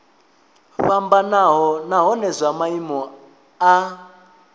fhambanaho nahone zwa maimo a